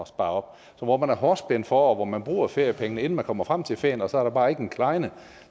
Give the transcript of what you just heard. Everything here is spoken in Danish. spare op hvor man er hårdt spændt for og hvor man bruger feriepengene inden man kommer frem til ferien og så er der bare ikke en klejne